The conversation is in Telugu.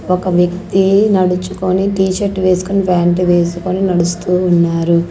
ఒక వ్యక్తి నడుచుకొని టీషర్ట్ వేసుకొని ఫ్యాంట్ వేసుకొని నడుస్తూ ఉన్నారు.